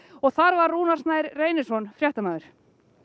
og þar var Rúnar Snær Reynisson fréttamaður